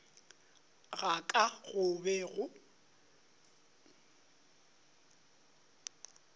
ga ka go be go